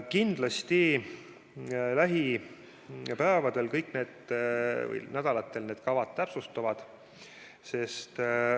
Kindlasti lähipäevadel või -nädalatel need kavad täpsustuvad.